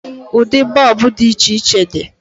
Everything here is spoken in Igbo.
Ụdị bọọbụ dị iche iche di.